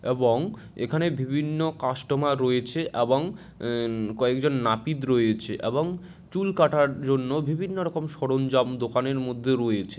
এবং এখানে বিভিন্ন কাস্টমার রয়েছে এবং উম কয়েক জন নাপিত রয়েছে এবং চুল কাটার জন্য বিভিন্ন রকম সরঞ্জাম দোকানের মধ্যে রয়েছে।